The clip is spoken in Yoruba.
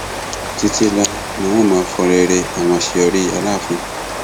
títí láéláé ni n ó máa fọnrẹrẹ àwọn àṣeyọrí aláàfin